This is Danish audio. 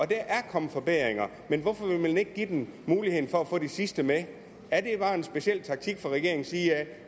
der er kommet forbedringer men hvorfor vil man ikke give dem muligheden for at få de sidste med er det bare en speciel taktik fra regeringens side